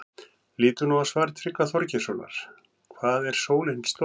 Lítum nú á svar Tryggva Þorgeirssonar, Hvað er sólin stór?